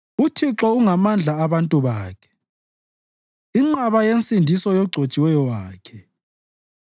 UThixo ungamandla abantu bakhe, inqaba yensindiso yogcotshiweyo wakhe.